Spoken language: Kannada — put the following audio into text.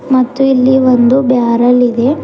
ಮತ್ತು ಇಲ್ಲಿ ಒಂದು ಬ್ಯಾರೆಲ್ ಇದೆ.